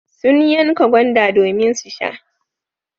Sun yanka gwanda domin su sha.